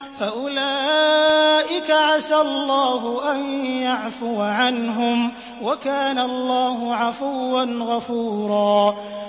فَأُولَٰئِكَ عَسَى اللَّهُ أَن يَعْفُوَ عَنْهُمْ ۚ وَكَانَ اللَّهُ عَفُوًّا غَفُورًا